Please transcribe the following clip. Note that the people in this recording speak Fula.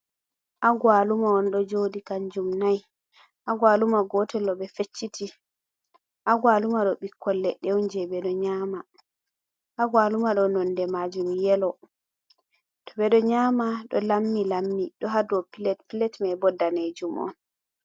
Agawaluma on ɗo jodi kanjum nai. Agawaluma gotel ɗo ɓe fecciti. Agawaluma ɗo ɓikkoi leɗɗe on je ɓeɗo nyama. Agawaluma ɗo nonɗe majum yelo. To ɓeɗo nyama ɗo lammi lammi, ɗo ha ɗow pilet, pilet mai ɓo nɗanejum on.